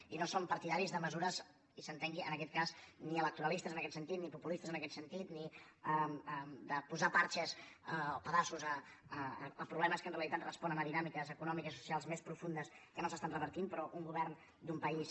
i no som partidaris de mesures i s’entengui en aquest cas ni electoralistes en aquest sentit ni populistes en aquest sentit ni de posar pedaços a problemes que en realitat responen a dinàmiques econòmiques i socials més profundes que no s’estan revertint però un govern d’un país